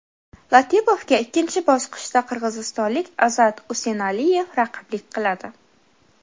Latipovga ikkinchi bosqichda qirg‘izistonlik Azat Usenaliyev raqiblik qiladi.